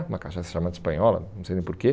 Uma cachaça chamada espanhola, não sei nem porquê.